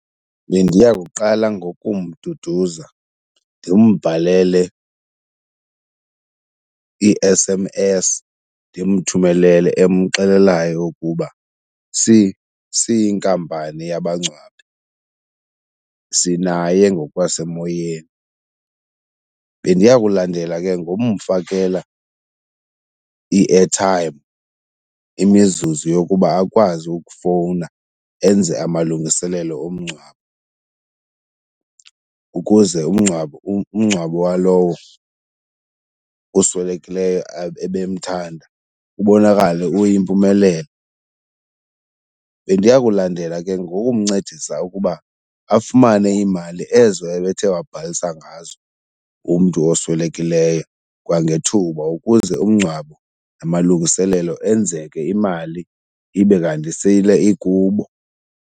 Bendiya kuqala ngokumduduza ndimbhalele i-S_M_S, ndimthumelele, emxelelayo ukuba siyinkampani yabangcwabi sinaye ngokwasemoyeni. Bendiya kulandela ke ngomfakela i-airtime, imizuzu yokuba akwazi ukufowuna enze amalungiselelo omngcwabo ukuze umngcwabo, umngcwabo walowo uswelekileyo ebemthanda ubonakale uyimpumelelo. Bendiya kulandela ke ngokumncedisa ukuba afumane iimali ezo ebethe wabhalisa ngazo umntu oswelekileyo kwangethuba ukuze umngcwabo namalungiselelo enzeke imali ibe kanti sele ikubo.